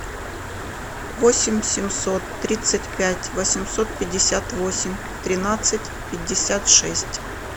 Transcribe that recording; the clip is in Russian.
восемь семьсот тридцать пять восемьсот пятьдесят восемь тринадцать пятьдесят шесть